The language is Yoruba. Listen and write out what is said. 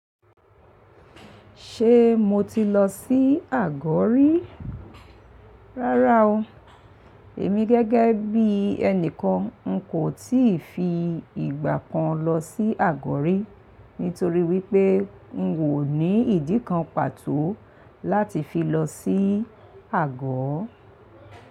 Ṣe mo ti lọ sí Àgọ́ rí? Rárá o. Èmi gẹ́gẹ́ bí ẹni kan n kò tí ì fi ìgbà kan lọ sí Àgọ́ rí nítorí wípé n ò ní ìdí kan pàtó láti fi lọ sí Àgọ́.